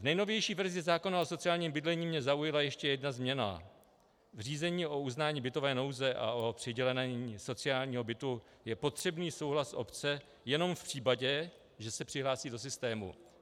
V nejnovější verzi zákona o sociálním bydlení mě zaujala ještě jedna změna - v řízení o uznání bytové nouze a o přidělení sociálního bytu je potřebný souhlas obce jenom v případě, že se přihlásí do systému.